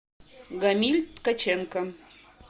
гамиль ткаченко